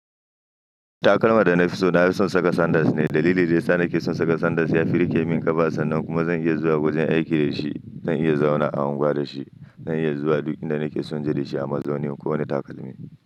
Takalman da na fi so na fi son saka sandals ne. Dalilin da ya sa na ƙi son saka sandals ya fi riƙe min ƙafa sannan kuma zan iya zuwa wajen aiki da shi. Zan iya zauna a unguwa da shi. Zan iya zuwa duk inda nake son je da shi, a mazaunin kowane takalmi.